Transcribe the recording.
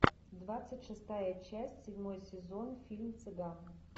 двадцать шестая часть седьмой сезон фильм цыган